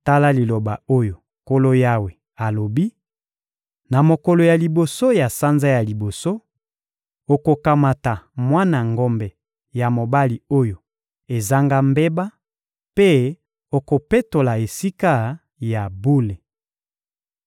Tala liloba oyo Nkolo Yawe alobi: Na mokolo ya liboso ya sanza ya liboso, okokamata mwana ngombe ya mobali oyo ezanga mbeba mpe okopetola Esika ya bule.